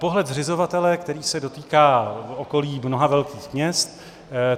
Pohled zřizovatele, který se dotýká okolí mnoha velkých měst.